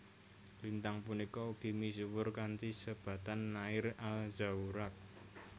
Lintang punika ugi misuwr kanthi sebatan Nair al Zaurak